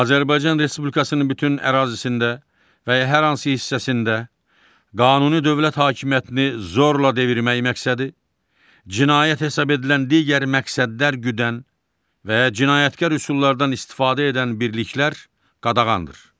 Azərbaycan Respublikasının bütün ərazisində və ya hər hansı hissəsində qanuni dövlət hakimiyyətini zorla devirmək məqsədi, cinayət hesab edilən digər məqsədlər güdən və ya cinayətkar üsullardan istifadə edən birliklər qadağandır.